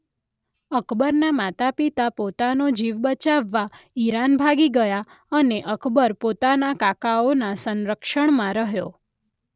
અકબરના માતા પિતા પોતનો જીવ બચાવવા ઈરાન ભાગી ગયા અને અકબર પોતાના કાકાઓના સંરક્ષણમાં રહ્યો.